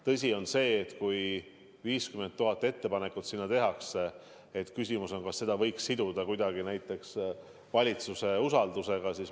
Tõsi on see, et kui eelnõu kohta tehakse 50 000 ettepanekut, siis küsimus on, kas seda võiks kuidagi siduda valitsuse usaldusega.